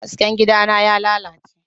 Hasken gidana ya lalace.